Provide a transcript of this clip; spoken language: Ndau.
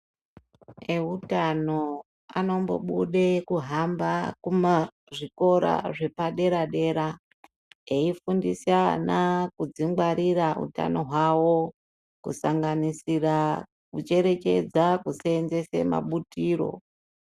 Eutano anombobude kuhamba kumazvikora zvepadera-dera eifundisa ana kudzingwarira utano hwavo kusanganisira kucherechedza kuseenzese mabutiro.